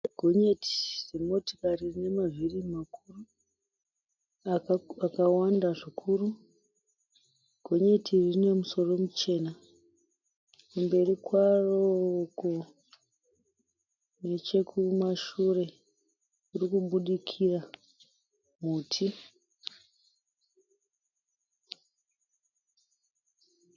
Gonyeti remotikari rinemavhiri makuru akawanda zvikuru. Gonyeti iri rine musoro muchena. Kumberi kwaro uko nechekumashure kurikubudikira hutsi.